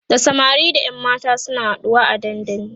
da samari da ƴan mata suna haɗuwa a dandali